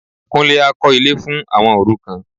Kúnlé á kọ́ ilé fún àwọn òrukàn